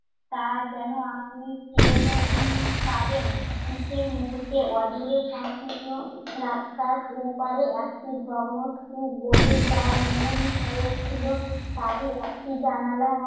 তা যেন আপনি টের উম পাবেন সে মুহূর্তে। অদূরে সংকীর্ণ রাস্তার ওপারে একটি ভগ্নস্তূপ বলে যা মনে উম হয়েছিল তারই একটি জানালায়